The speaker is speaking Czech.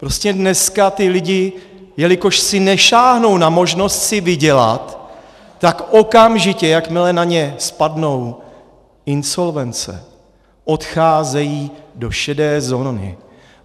Prostě dneska ti lidé, jelikož si nesáhnou na možnost si vydělat, tak okamžitě, jakmile na ně spadnou insolvence, odcházejí do šedé zóny.